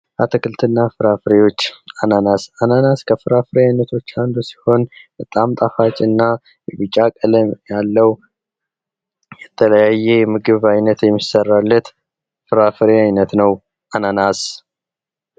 አትክልትና ፍሬፍሬዎች አናናስ:- አናናስ ከፍራፍሬ አይነቶች አንዱ ሲሆን በጣም ጣፋጭ እና ቢጫ ቀለም ያለዉ የተለያየ የምግብ አይነት የሚሰራበት የፍሬፍሬ አይነት ነዉ። አናናስ!